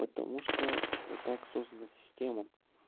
потому что вот так создана система